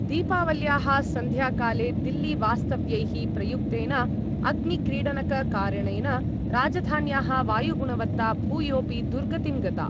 दीपावल्याः सन्ध्याकाले दिल्लीवास्तव्यैः प्रयुक्तेन अग्निक्रीडनककारणेन राजधान्याः वायुगुणवत्ता भूयोपि दुर्गतिं गता।